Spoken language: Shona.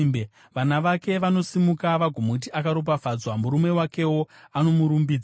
Vana vake vanosimuka vagomuti akaropafadzwa, murume wakewo, anomurumbidza: